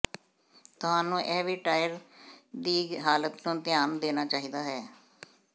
ਤੁਹਾਨੂੰ ਇਹ ਵੀ ਟਾਇਰ ਦੀ ਹਾਲਤ ਨੂੰ ਧਿਆਨ ਦੇਣਾ ਚਾਹੀਦਾ ਹੈ